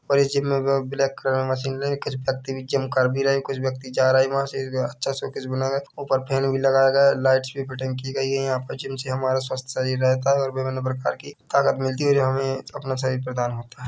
और इस जिम में वो ब्लैक कलर में मशीन लगी है कुछ व्यक्ति जिम कर भी रहे है कुछ व्यक्ति जा रहे है अच्छा शोकेस बनाया गया है ऊपर फैन भी लगाया गया है लाइट्स भी की गई है यहाँ पे जिम से हमारा स्वस्थ शरीर रहता है और विभिन्न प्रकार की ताकत मिलती है और हमें अपना शरीर प्रदान होता हैं।